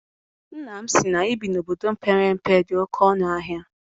Nna m sị na ibi na obodo mepere emepe dị oké ọnụ ahịa.